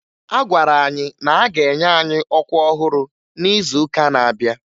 A gwara anyị na-aga enye anyị ọkwa ọhụrụ n'izuụka na-abịa